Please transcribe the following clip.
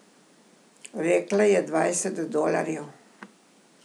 Rekla je dvajset dolarjev.